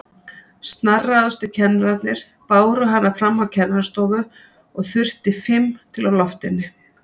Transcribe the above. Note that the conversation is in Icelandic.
Snarráðustu kennararnir báru hana fram á kennarastofu og þurfti fimm til að lofta henni.